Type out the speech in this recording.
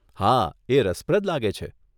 હા, એ રસપ્રદ લાગે છે.